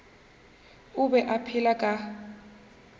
o be a phela ka